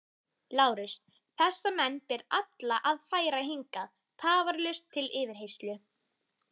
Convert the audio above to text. LÁRUS: Þessa menn ber alla að færa hingað tafarlaust til yfirheyrslu.